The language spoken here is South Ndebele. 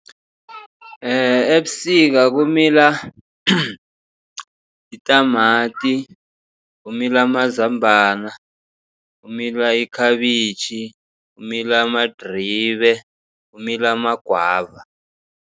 Ebusika kumila itamati, kumila amazambana, kumila ikhabitjhi, kumila amadribe, kumila amagwava.